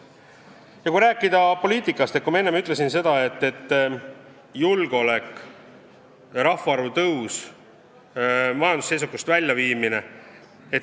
Kui rääkida poliitikast, siis enne ma ütlesin, et eesmärk on julgeolek ja rahvaarvu kasv ning majandusseisakust väljumine.